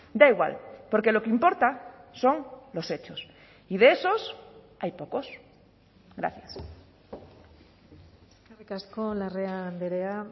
da igual porque lo que importa son los hechos y de esos hay pocos gracias eskerrik asko larrea andrea